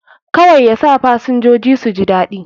Kawai yasa fasinjoji suji daɗi